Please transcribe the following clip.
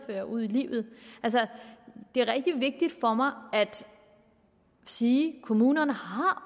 føre ud i livet det er rigtig vigtigt for mig at sige at kommunerne